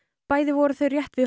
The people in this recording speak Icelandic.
bæði voru þau rétt við